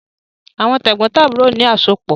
Àwọn tẹ̀gbọ́ntàbúrò ni àsopọ̀